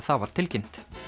það var tilkynnt